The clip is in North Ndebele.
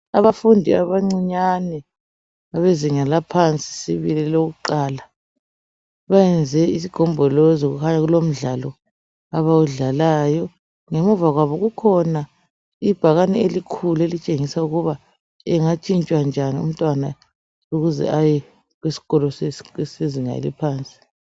Abafundi abancinyane bezinga laphansi sibili lokuqala benze isigombolozi kukhanya kulomdlalo abawudlalayo ngemuva kwabo kukhona ibhakane elikhulu elitshengisa ukuba engatshintshwa njani umntwana ukuze aye eskolo sezinga eliphansi.